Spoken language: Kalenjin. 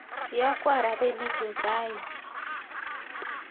iyokwo rapinikchu raini